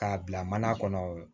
K'a bila mana kɔnɔ